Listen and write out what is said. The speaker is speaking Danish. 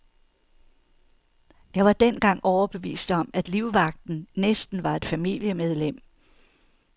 Jeg var dengang overbevist om, at livvagten næsten var et familiemedlem.